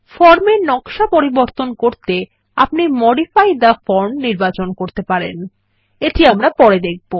form এর নকশা পরিবর্তন করতে আপনি মডিফাই থে ফর্ম নির্বাচন করতে পারেন এটি আমরা পরে দেখবো